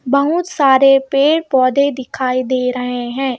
बहुत सारे पेड़ पौधे दिखाई दे रहे हैं।